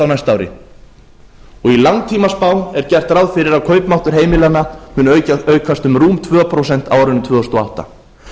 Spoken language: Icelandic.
á næsta ári og í langtímaspá er gert ráð fyrir að kaupmáttur heimilanna muni aukast um rúm tvö prósent á árinu tvö þúsund og átta